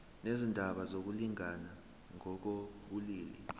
nezindaba zokulingana ngokobulili